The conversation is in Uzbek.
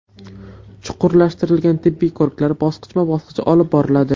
Chuqurlashtirilgan tibbiy ko‘riklar bosqichma bosqich olib boriladi.